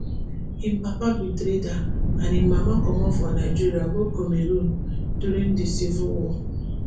im papa be trader and im mama comot for nigeria go cameroon during di civil war